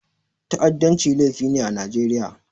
Ta'addanci laifi ne a Najeriya.